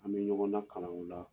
An bɛ ɲɔgɔn nakalan u la.